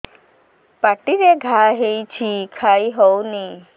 ପାଟିରେ ଘା ହେଇଛି ଖାଇ ହଉନି